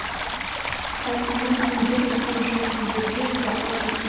халқымнан кімдер өткен жоқ кімдерге зауал